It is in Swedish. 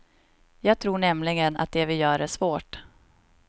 Jag tror nämligen att det vi gör är svårt.